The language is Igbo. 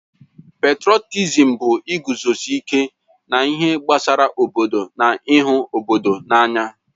Petrọtịzịm bụ iguzosị ike n'ihe gbasara obodo na ịhụ obodo n'anya.